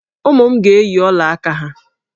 Ụmụ m ga-eyi ọla aka ha.